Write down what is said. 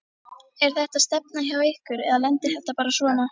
Er þetta stefna hjá ykkur eða lendir þetta bara svona?